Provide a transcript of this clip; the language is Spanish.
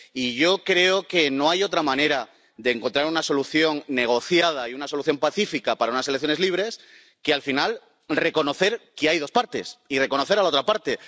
Y yo creo que no hay otra manera de encontrar una solución negociada y una solución pacífica para unas elecciones libres que, al final, reconocer que hay dos partes, y reconocer a la otra parte.